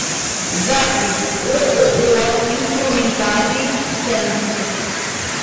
запись ооо инструментальный центр